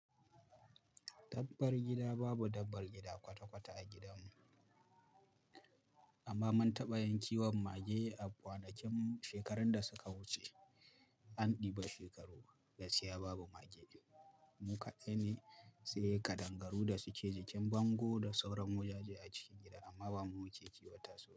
Dabbar gida babu dabbar gida kwata-kwata a gidanmu amma mun taɓa yin kiwon mage a kwanakin shekarun da suka wuce, an ɗiba shekaru gaskiya babu mage biyu. Mu kaɗai ne, sai ƙadangaru da suke jikin bango da sauran wajaje a cikin gida amma ba mu wuce kiwata sau biyu.